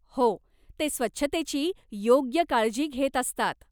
हो, ते स्वच्छतेची योग्य काळजी घेत असतात.